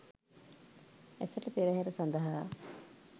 ඇසළ පෙරහර සඳහා